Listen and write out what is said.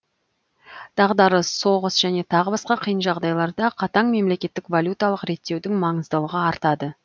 дағдарыс соғыс және тағы басқа қиын жағдайларда қатаң мемлекетгік валюталық реттеудің маңыздылығы артады